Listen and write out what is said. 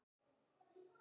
Blessuð sértu Dísa mín.